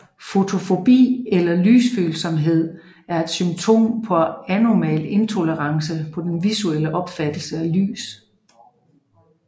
Fotofobi eller Lysfølsomhed er et symptom på abnormal intolerance på den visuelle opfattelse af lys